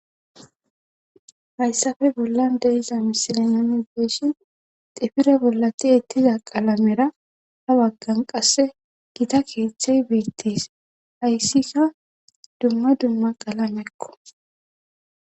Hayssafe bollan deiza misilinami geyshi xifire bollati ettiza qalamera ha waggan qasse gita keeththey beettes hayssika dumma dumma qalamekko.